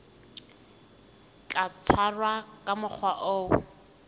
tla tshwarwa ka mokgwa o